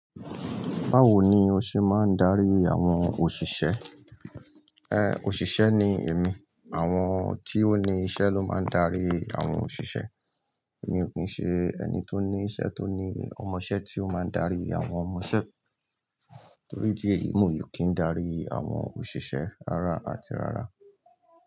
Báwo ni o ṣe máa ń darí àwọn òṣìṣẹ́? Òṣìṣẹ́ ni èmi. Àwọn tí ó ní iṣẹ́ ló máa ń darí àwọn òṣìṣẹ́. Èmi ò kí ń ṣe ẹni tó ní iṣẹ́ tó ní ọmọṣẹ́ tí ó máa ń darí àwọn ọmọṣẹ́. Torí ìdí èyí mi ò kì n darí àwọn òṣìṣẹ́ rárá àti rárá.